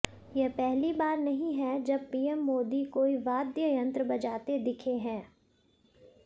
यह पहली बार नहीं है जब पीएम मोदी कोई वाद्य यंत्र बजाते दिखे हैं